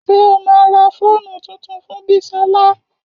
Ṣé o ma ra fóònù tuntun fún Bisola?